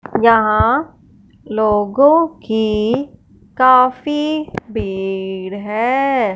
यहां लोगों की काफी भीड़ है।